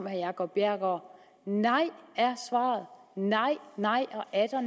herre jacob bjerregaard nej er svaret nej nej